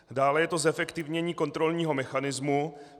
Dále je to zefektivnění kontrolního mechanismu.